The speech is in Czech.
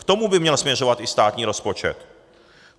K tomu by měl směřovat i státní rozpočet.